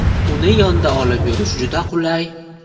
Uni yonda olib yurish juda qulay.